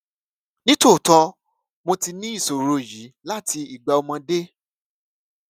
ní tòótọ mo ti ní ìṣòro yìí láti ìgbà ọmọdé